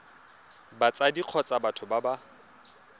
batsadi kgotsa batho ba ba